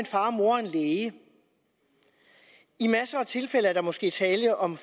far mor og en læge i masser af tilfælde er der måske tale om